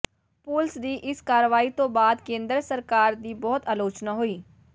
ਪੁਲਸ ਦੀ ਇਸ ਕਾਰਵਾਈ ਤੋਂ ਬਾਅਦ ਕੇਂਦਰ ਸਰਕਾਰ ਦੀ ਬਹੁਤ ਆਲੋਚਨਾ ਹੋਈ